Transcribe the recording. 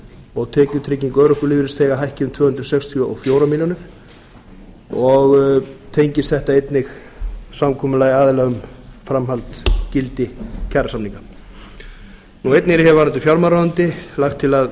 og tekjutrygging örorkulífeyrisþega hækki um tvö hundruð sextíu og fjórar milljónir og tengist þetta einnig samkomulagi aðila um framhald gildi kjarasamninga einnig er hér varðandi fjármálaráðuneyti lagt til að